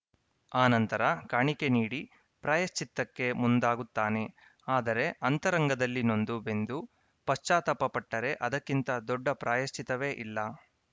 ಆ ನಂತರ ಕಾಣಿಕೆ ನೀಡಿ ಪ್ರಾಯಶ್ಚಿತ್ತಕ್ಕೆ ಮುಂದಾಗುತ್ತಾನೆ ಆದರೆ ಅಂತರಂಗದಲ್ಲಿ ನೊಂದು ಬೆಂದು ಪಶ್ಚಾತ್ತಾಪ ಪಟ್ಟರೆ ಅದಕ್ಕಿಂತ ದೊಡ್ಡ ಪ್ರಾಯಶ್ಚಿತ್ತವೇ ಇಲ್ಲ